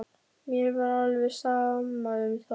Mér var alveg sama um það.